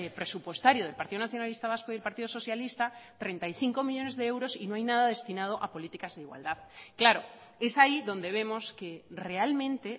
presupuestario del partido nacionalista vasco y el partido socialista treinta y cinco millónes de euros y no hay nada destinado a políticas de igualdad claro es ahí donde vemos que realmente